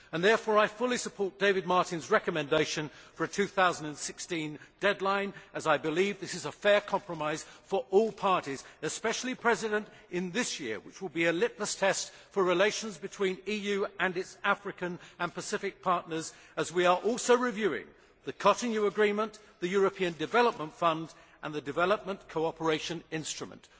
I therefore fully support David Martin's recommendation for a 2016 deadline as I believe this is a fair compromise for all parties, especially in this year which will be a litmus test for relations between the EU and its African and Pacific partners as we are also reviewing the Cotonou Agreement, the European Development Fund and the Development Cooperation Instrument.